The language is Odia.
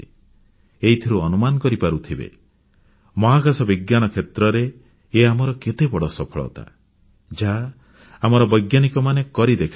ଏଇଥିରୁ ଅନୁମାନ କରିପାରୁଥିବେ ମହାକାଶ ବିଜ୍ଞାନ କ୍ଷେତ୍ରରେ ଇଏ ଆମର କେତେବଡ଼ ସଫଳତା ଯାହା ଆମର ବୈଜ୍ଞାନିକମାନେ କରି ଦେଖାଇଛନ୍ତି